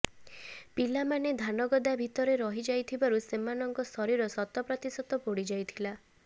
ପିଲାମାନେ ଧାନଗଦା ଭିତରେ ରହି ଯାଇଥିବାରୁ ସେମାନଙ୍କ ଶରୀର ଶତପ୍ରତିଶତ ପୋଡ଼ିଯାଇଥିଲା